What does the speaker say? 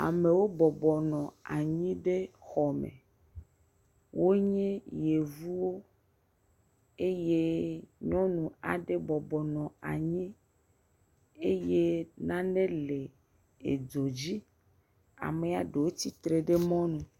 Amewo bɔbɔnɔ anyi ɖe xɔ me. Wonye yevuwo eye nyɔnu aɖe bɔbɔnɔ anyi eye nane le edzo dzi. Amea ɖewo tsitre ɖe mɔ nu. Amewo bɔbɔnɔ anyi ɖe xɔ me. Wonye yevuwo eye nyɔnu aɖe bɔbɔnɔ anyi eye nane le edzo dzi. Amea ɖewo tsitre ɖe mɔnu.